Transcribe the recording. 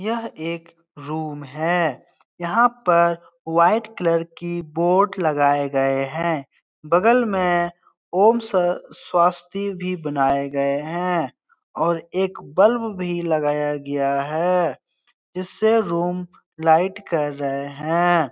यह एक रूम है यहाँ पर वाइट कलर की बोट लगाए गए हैं बगल में ओम स स्वस्ति भी बनाए गए हैं और एक बल्ब भी लगाया गया है जिससे रूम लाइट कर रहे है।